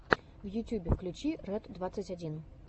в ютьюбе включи рэд двадцать один